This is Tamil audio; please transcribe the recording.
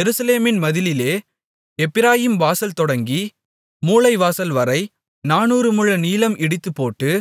எருசலேமின் மதிலிலே எப்பிராயீம் வாசல் தொடங்கி மூலைவாசல்வரை நானூறு முழ நீளம் இடித்துப்போட்டு